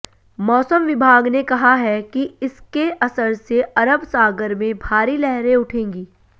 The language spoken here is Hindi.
मौसम विभाग ने कहा है कि इसके असर से अरब सागर में भारी लहरें उठेंगी